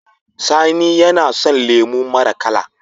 Sani yAna son lemo mara kala